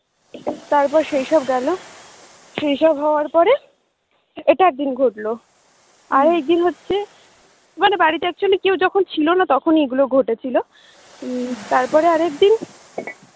তারপর সেই সব গেলো সেই সব হওয়ার পরে এটা একদিন ঘটলো আরেকদিন হচ্ছে মানে বাড়িতে actually কেউ যখন ছিল না তখন এই গুলো ঘটেছিলো তারপরে আরেকদিন